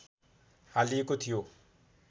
हालिएको थियो